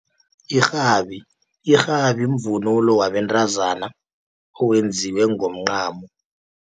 Irhabi, irhabi mvunulo wabentazana, owenziwe ngomncamo.